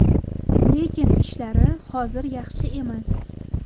Lekin ishlari hozir yaxshi emas.